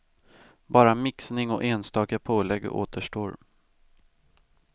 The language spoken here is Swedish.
Bara mixning och enstaka pålägg återstår.